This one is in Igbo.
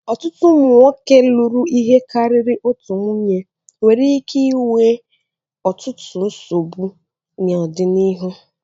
Ọtụtụ ụmụ nwoke lụrụ ihe karịrị otu nwunye nwere ike inwe ọtụtụ nsogbu n'ọdịnihu.